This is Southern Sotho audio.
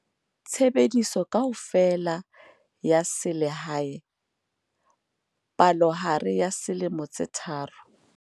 Tshebediso kaofela ya selehae, palohare ya dilemo tse 3, tone.